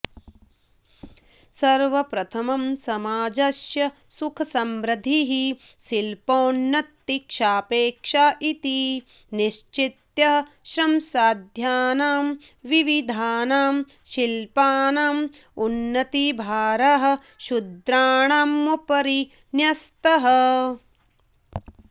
सर्वप्रथमं समाजस्य सुखसमृध्दिः शिल्पोन्नतिसापेक्षा इति निश्चित्य श्रमसाध्यानां विविधानां शिल्पानाम् उन्नतिभारः शूद्राणामुपरि न्यस्तः